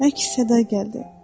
Əks-səda gəldi.